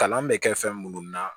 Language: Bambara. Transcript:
Kalan bɛ kɛ fɛn munnu na